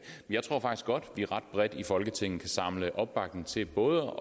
jeg tror faktisk godt at vi ret bredt i folketinget kan samle opbakning til både